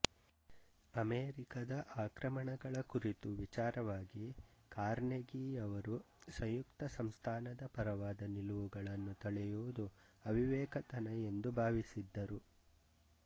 ಅಮೆರಿಕದ ಆಕ್ರಮಣಗಳ ಕುರಿತು ವಿಚಾರವಾಗಿ ಕಾರ್ನೆಗೀಯವರು ಸಂಯುಕ್ತ ಸಂಸ್ಥಾನದ ಪರವಾದ ನಿಲುವುಗಳನ್ನು ತಳೆಯುವುದು ಅವಿವೇಕತನ ಎಂದು ಭಾವಿಸಿದ್ದರು